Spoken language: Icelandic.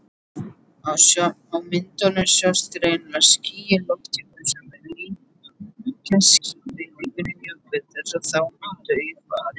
Á myndum sjást greinilega ský í lofthjúpnum sem líkjast skýjabeltum Júpíters, en þó mun daufari.